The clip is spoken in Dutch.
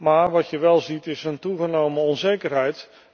Maar wat je wel ziet is een toegenomen onzekerheid.